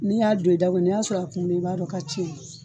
N'i y'a don i da ko n'i y'a sɔrɔ a kumunen i b'a dɔ k'a ciye